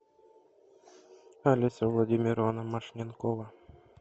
олеся владимировна машненкова